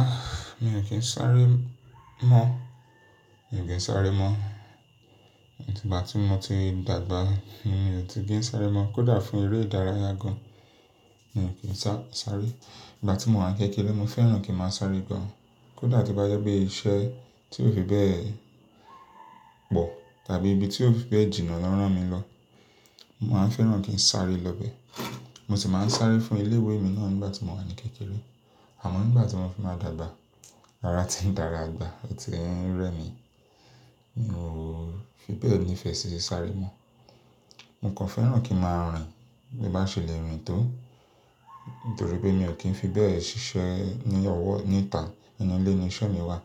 Ah! Mi ò kí ń sáré mọ́. Mi ò de ń sáré mọ́. Atí igbá ti mo ti dàgbà yen, mi ò ti kí ń sáré mọ́. Kódà fún eré ìdárayá gan, mi ò kí ń sa, sáré. Ìgbà tí mo wà n kékeré, mo fẹ́ràn kí ń máa sáré gan. Kódà tó bá jẹ́ pé iṣẹ́ tí ó fi bẹ́ẹ̀ pọ̀ tàbí ibi tí ó fi bẹ́ẹ̀ jìnnà lọ rán mi lọ. Mo máa ń fẹ́ràn kí ń sáré lọ bẹ. Mo sì máa ń sáré fún ilé ìwé mi náà n gbà tí mo wà ní kékeré. Àmọ́ nígbà tí mo fi máa dàgbà, ara ti ń dara agbà, otí ń rẹ́ mi, mi ò fi bẹ́ẹ̀ nífẹ̀ẹ́ sí sáré mọ́. Mo kàn fẹ́ràn kí ń máa rìn. Bí n bá ṣẹlẹ̀ rìn tó, nítorí pé mi ò kí ń fi bẹ́ẹ̀ ṣiṣẹ́ ní ọwọ́ níta. Nínú ilé ni iṣẹ́ mi wà.